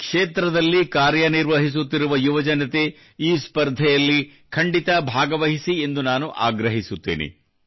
ಈ ಕ್ಷೇತ್ರದಲ್ಲಿ ಕಾರ್ಯನಿರ್ವಹಿಸುತ್ತಿರುವ ಯುವಜನತೆ ಈ ಸ್ಪರ್ಧೆಯಲ್ಲಿ ಖಂಡಿತ ಭಾಗವಹಿಸಿ ಎಂದು ನಾನು ಆಗ್ರಹಿಸುತ್ತೇನೆ